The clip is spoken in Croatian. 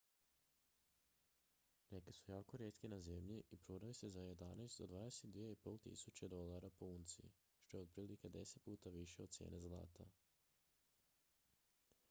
neki su jako rijetki na zemlji i prodaju se za 11.000 do 22.500 usd po unci što je otprilike deset puta više od cijene zlata